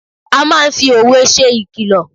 A máa ń fi òwe ṣe ìkìlọ̀.